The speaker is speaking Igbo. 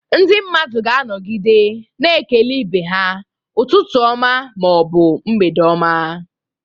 Ndị mmadụ ga-anọgide na-ekele ibe ha "Ụtụtụ ọma" ma ọ bụ "mgbede oma."